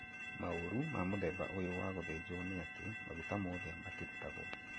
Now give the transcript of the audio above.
Maũru ma mũthemba ũyũ wa gũthĩnjwo nĩ atĩ maguta mothe matirutagwo